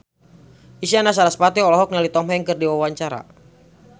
Isyana Sarasvati olohok ningali Tom Hanks keur diwawancara